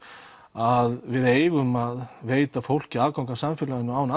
að við eigum að veita fólki aðgang að samfélaginu án